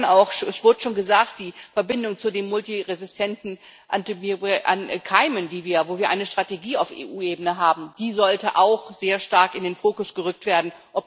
Und dann auch es wurde schon gesagt die Verbindung zu den multiresistenten Keimen, wo wir eine Strategie auf EU Ebene haben Die sollte auch sehr stark in den Fokus gerückt werden.